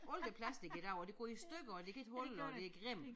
Alt er plastic i dag og det går i stykker og det kan ikke holde og det grimt